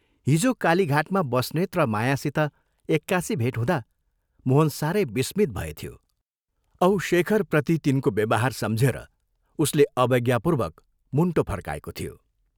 हिजो कालीघाटमा बस्नेत र मायासित एक्कासि भेट हुँदा मोहन सारै विस्मित भएथ्यो औ शेखप्रति तिनको व्यवहार सम्झेर उसले अवज्ञापूर्वक मुण्टो फर्काएको थियो।